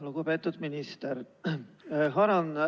Lugupeetud minister!